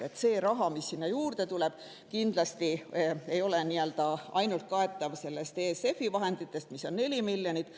See, mis sinna juurde tuleb, kindlasti ei ole kaetav ainult ESF+-i vahenditest, mis on 4 miljonit.